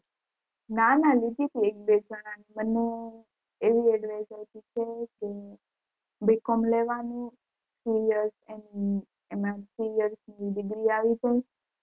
ના ના લીધી હતી એક બે જણાની મને એવી advice આપી છે કે B. Com લેવાનું three years થાય એમાં three years ની degree આવી જાય.